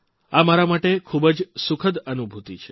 આ મારા માટે ખૂબ જ સુખદ અનુભૂતિ છે